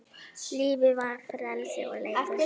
Lífið var frelsi og leikur.